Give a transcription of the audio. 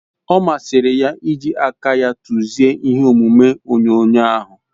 O masiri ya iji aka ya tuzie ihe omume onyonyo ahu